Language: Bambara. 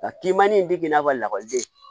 Nka kinmin bɛ k'i n'a fɔ lakɔliden